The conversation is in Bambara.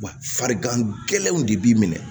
Wa farigan gɛlɛnw de b'i minɛ